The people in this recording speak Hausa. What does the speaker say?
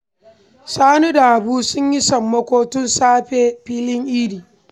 Sani da Habu sun yi sammako sun tafi filin Idi